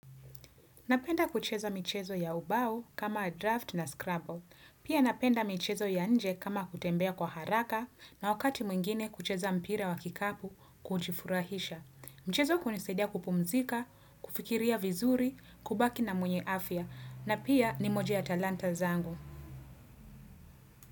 Napenda kucheza michezo ya ubau kama draft na scrabble. Pia napenda mchezo ya nje kama kutembea kwa haraka na wakati mwingine kucheza mpira wa kikapu kujifurahisha. Mchezo kunisaidia kupumzika, kufikiria vizuri, kubaki na mwenye afya na pia ni moja ya talanta zangu.